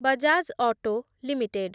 Bajaj Auto limited